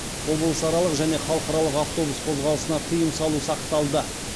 облысаралық және халықаралық автобус қозғалысына тыйым салу сақталды